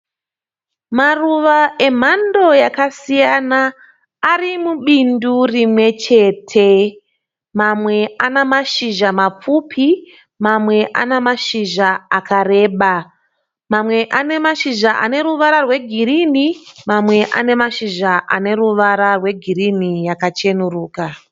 Maruva emhando yakasiyana arimubindu rimwe chete, mamwe ane mashizha mapfupi mamwe anemashizha akareba. Mamwe anemashizha aneruvara rwegirini, mamwe anemashizha aneruvara rwegirini yakacheneruka.